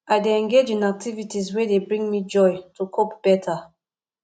i dey engage in activities wey dey bring me joy to cope better